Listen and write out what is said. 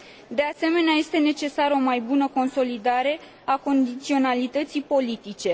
De asemenea, este necesară o mai bună consolidare a condiționalității politice.